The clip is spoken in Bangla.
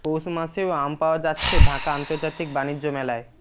পৌষ মাসেও আম পাওয়া যাচ্ছে ঢাকা আন্তর্জাতিক বাণিজ্য মেলায়